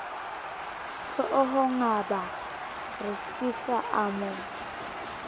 hloohongabaa re sihla a mo